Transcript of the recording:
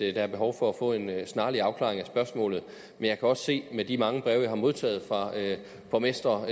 er behov for at få en snarlig afklaring af spørgsmålet men jeg kan også se med de mange breve jeg har modtaget fra borgmestre